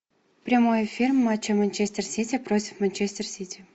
прямой эфир матча манчестер сити против манчестер сити